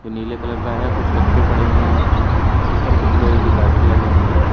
नीले कलर का है कुछ कटै पड़े हुए हैं ऊपर कुछ लोहे की गार्डर लगे हुए है।